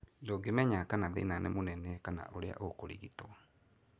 Ndũngĩmenya kana thĩna nĩ mũnene kana ũrĩa ũkũrigito.